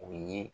U ye